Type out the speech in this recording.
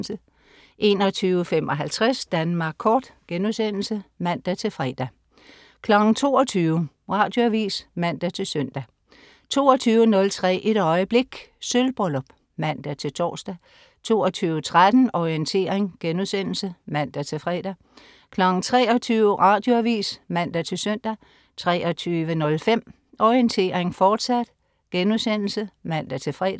21.55 Danmark Kort* (man-fre) 22.00 Radioavis (man-søn) 22.03 Et øjeblik. Sølvbryllup (man-tors) 22.13 Orientering* (man-fre) 23.00 Radioavis (man-søn) 23.05 Orientering, fortsat* (man-fre)